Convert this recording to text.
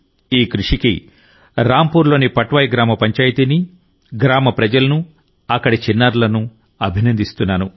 ఈ కృషికి రాంపూర్లోని పట్వాయి గ్రామపంచాయతీని గ్రామ ప్రజలనుఅక్కడి చిన్నారులను అభినందిస్తున్నాను